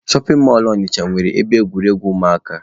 Shọpin mọlụ Ọnịcha nwere ebe egwuregwu ụmụaka.